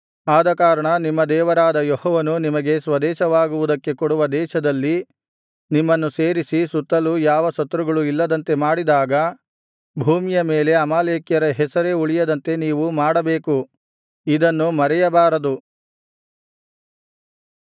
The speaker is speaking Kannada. ಆದಕಾರಣ ನಿಮ್ಮ ದೇವರಾದ ಯೆಹೋವನು ನಿಮಗೆ ಸ್ವದೇಶವಾಗುವುದಕ್ಕೆ ಕೊಡುವ ದೇಶದಲ್ಲಿ ನಿಮ್ಮನ್ನು ಸೇರಿಸಿ ಸುತ್ತಲು ಯಾವ ಶತ್ರುಗಳೂ ಇಲ್ಲದಂತೆ ಮಾಡಿದಾಗ ಭೂಮಿಯ ಮೇಲೆ ಅಮಾಲೇಕ್ಯರ ಹೆಸರೇ ಉಳಿಯದಂತೆ ನೀವು ಮಾಡಬೇಕು ಇದನ್ನು ಮರೆಯಬಾರದು